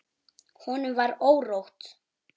Honum var órótt.